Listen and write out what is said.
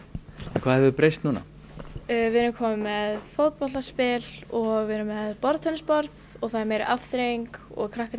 hvað hefur breyst núna við erum komin með fótboltaspil og við erum með borðtennisborð og það er meiri afþreying og krakkarnir